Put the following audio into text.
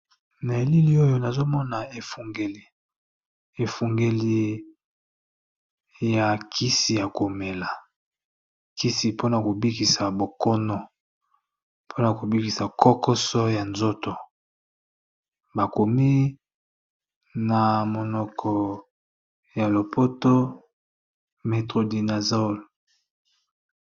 Na elili oyo nazomona efungeli, efungeli ya kisi ya komela kisi mpona kobikisa bokono mpona kobikisa kokoso ya nzoto bakomi na monoko ya lopoto Metrodinasole.